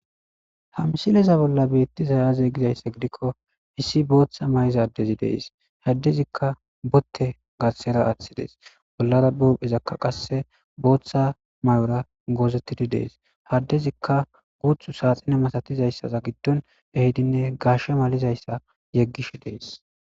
hamsileza bolla bettizayaze gizayssa gidikko issi booththa may7iza adezi dees haddezikka botte gassera aaththidees bollara bophezakka qasse booththa may7ora goozettidi dees haddezikka guuthu saaxine masatizayssaza giddon ehidinne gaashshe malizayssa yeggish dees